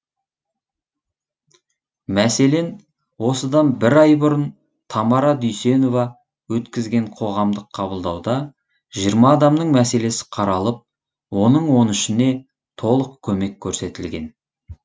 мәселен осыдан бір ай бұрын тамара дүйсенова өткізген қоғамдық қабылдауда жиырма адамның мәселесі қаралып оның он үшіне толық көмек көрсетілген